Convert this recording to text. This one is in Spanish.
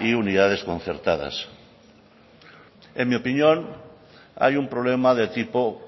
y unidades concertadas en mi opinión hay un problema de tipo